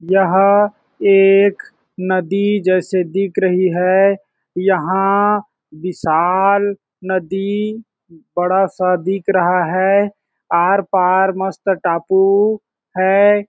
यह एक नदी जैसी दिख रही है यहाँ विशाल नदी बड़ा - सा दिख रहा है आर - पार मस्त टापू है।